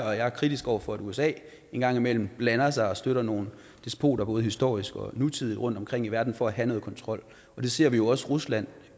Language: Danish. og jeg er kritisk over for at usa en gang imellem blander sig og støtter nogle despoter både historiske og nutidige rundtomkring i verden for at have noget kontrol det ser vi også rusland